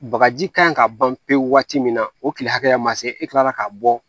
Bagaji kan in ka ban pewu waati min na o kile hakɛya ma se e kila la k'a bɔ